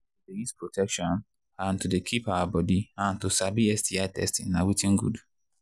to they use protection and to they keep our body and to sabi sti testing na watin good